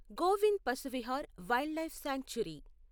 Govind Pashu Vihar Wildlife sanctuary